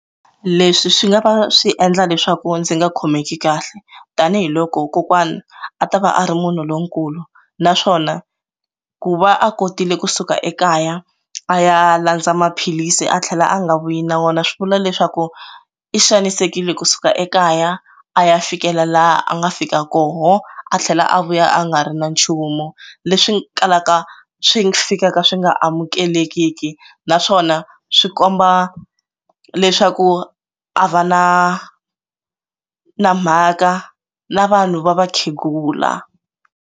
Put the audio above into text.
Leswi swi nga va swi endla leswaku ndzi nga khomeki kahle tanihiloko kokwana a ta va a ri munhu lonkulu naswona ku va a kotile kusuka ekaya a ya landza maphilisi a tlhela a nga vuyi na wona swi vula leswaku i xanisekile kusuka ekaya a ya fikela laha a nga fika kona a tlhela a vuya a nga ri na nchumu leswi kalaka swi fika ka swi nga amukelekiki na naswona swi komba leswaku a va na na mhaka na vanhu va vakhegula.